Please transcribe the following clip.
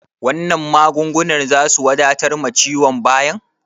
Wannan magungunan zasu wadatar ma ciwon bayan?